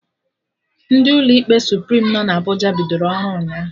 Ndị ụlọ ikpe Suprim nọ na Abụja bidoro ọrụ ụnyaahụ